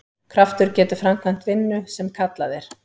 Kraftur getur framkvæmt vinnu sem kallað er.